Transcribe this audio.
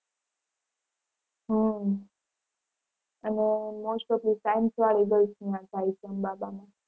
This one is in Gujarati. હમ અને most of result ત્યાં થાય છે અંબા બા માં.